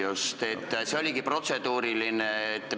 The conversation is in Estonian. See ongi protseduuriline märkus.